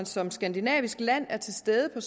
som skandinavisk land er til stede på